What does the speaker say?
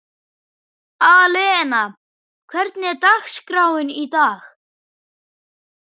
Alena, hvernig er dagskráin í dag?